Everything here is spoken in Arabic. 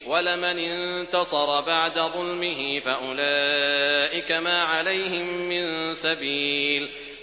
وَلَمَنِ انتَصَرَ بَعْدَ ظُلْمِهِ فَأُولَٰئِكَ مَا عَلَيْهِم مِّن سَبِيلٍ